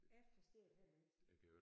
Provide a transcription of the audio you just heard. Jeg forstår det heller ikke